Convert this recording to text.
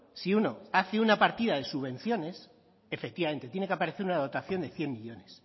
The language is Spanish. si uno hace una partida de subvenciones efectivamente tiene que aparecer una dotación de cien millónes